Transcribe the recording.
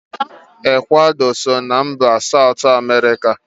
Ekwado so na mba Satu Emerika